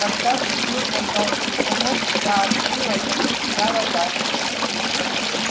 когда в дверь раздался звонок и я открыла то потеряла дар речи